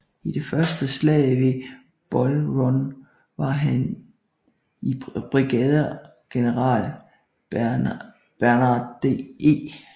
I det Første slag ved Bull Run var han i brigadegeneral Barnard E